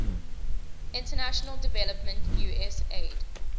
international development usaid